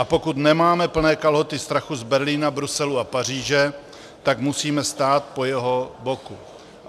A pokud nemáme plné kalhoty strachu z Berlína, Bruselu a Paříže, tak musíme stát po jeho boku.